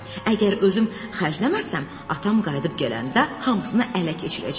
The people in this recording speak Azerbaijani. Əgər özüm xərcləməsəm, atam qayıdıb gələndə hamısını ələ keçirəcək.